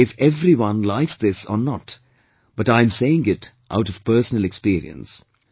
I do not know if everyone likes this or not, but I am saying it out of personal experience